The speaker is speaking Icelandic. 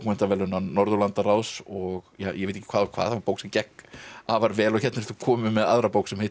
verðlauna Norðurlandaráðs og ég veit ekki hvað og hvað það var bók sem gekk afar vel hér ertu komin með aðra bók sem heitir